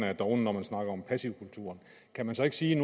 er dovne når man snakker om passivkulturen kan man så ikke sige at